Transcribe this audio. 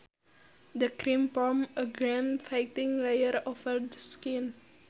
The cream forms a germ fighting layer over the skin